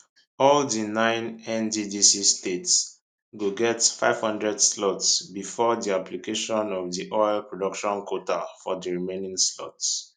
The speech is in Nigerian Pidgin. all di nine nddc states go get 500 slots bifor di application of di oil production quota for di remaining slots